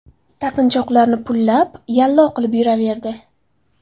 Taqinchoqlarni pullab, yallo qilib yuraverdi.